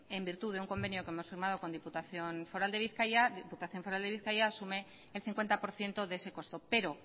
en virtud de un convenio que hemos firmado con diputación foral de bizkaia asume el cincuenta por ciento de ese costo pero